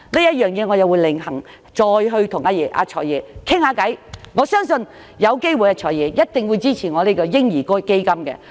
關於這方面，我會另行約見"財爺"討論，我相信他一定會支持我提出的嬰兒基金建議。